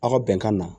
Aw ka bɛnkan na